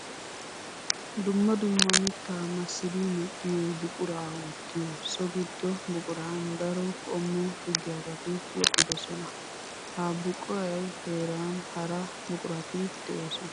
Dumma dumma mitta massiddi medhdhiyo buqura wottiyo so gido buquran daro qommo shugiyabatti woxxidosona. Ha buquea heeran hara buqurati de'osona.